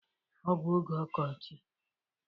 Ọ bụ oge ọkọchi.